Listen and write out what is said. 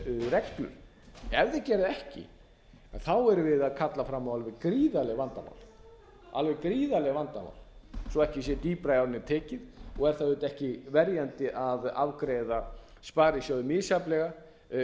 reglur ef þeir gera það ekki erum við að kalla fram alveg gríðarleg vandamál svo ekki sé dýpra í árinni tekið og er það auðvitað ekki verjandi að afgreiða sparisjóði misjafnlega